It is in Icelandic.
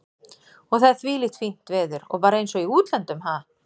Og það er þvílíkt fínt veður og bara eins og í útlöndum, ha?